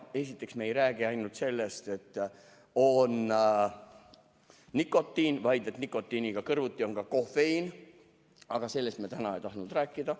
Esiteks see, et me ei räägi ainult sellest, et on nikotiin, vaid et nikotiiniga kõrvuti on ka kofeiin, aga sellest me täna ei tahtnud rääkida.